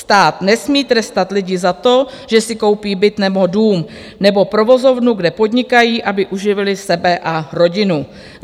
Stát nesmí trestat lidi za to, že si koupí byt nebo dům nebo provozovnu, kde podnikají, aby uživili sebe a rodinu.